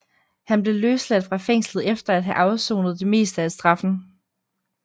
Han blev løsladt fra fængslet efter at have afsonet det meste af straffen